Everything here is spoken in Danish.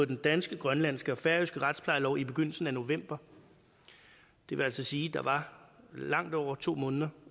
den danske grønlandske og færøske retsplejelov i begyndelsen af november det vil altså sige at der var langt over to måneder